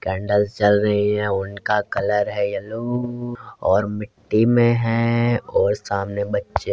candles जल रही है उनका कलर है येलोओओ और मिट्टी में है और सामने बच्चे --